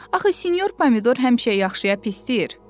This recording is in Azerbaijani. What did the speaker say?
Axı Sinyor Pomidor həmişə yaxşıya pis deyir.